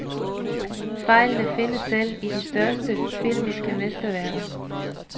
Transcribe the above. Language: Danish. Fejlene findes selv i de største filmiske mesterværker.